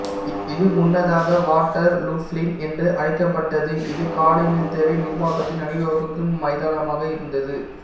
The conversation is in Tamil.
இது முன்னதாக வாட்டர்லூ ப்ளீன் என்று அழைக்கப்பட்டது இது காலனித்துவ நிர்வாகத்தின் அணிவகுப்பு மைதானமாக இருந்தது